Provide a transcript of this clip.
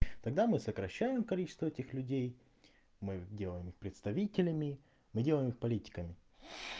тогда мы сокращаем количество этих людей мы делаем их представителями мы делаем их политиками